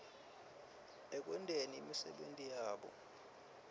ekwenteni imisebenti yabo